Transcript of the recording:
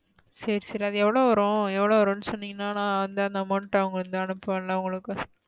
சேரி சேரி அது எவளோ வரும் எவளோ வரும்னு சொன்னிகனா நான் வந்து அந்த amount அ அவுங்கட இருந்து அனுபுவேன்ல உங்களுக்கு,